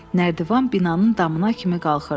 Nərdivan binanın damına kimi qalxırdı.